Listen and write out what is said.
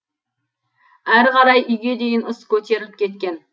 әрі қарай үйге дейін ыс көтеріліп кеткен